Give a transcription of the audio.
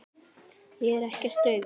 Ég er ekkert daufur.